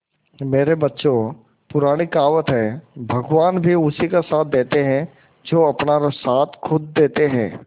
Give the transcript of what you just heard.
मेरे बच्चों पुरानी कहावत है भगवान भी उसी का साथ देते है जो अपना साथ खुद देते है